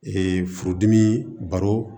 furudimi baro